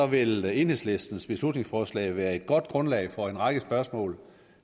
vil enhedslistens beslutningsforslag være et godt grundlag for en række spørgsmål